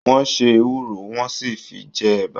Wọ́n se ewúro, wọ́n sì fi jẹ ẹ̀bà.